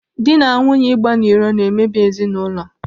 Dị na nwunye ịgba n'iro na emebi ezinaụlọ.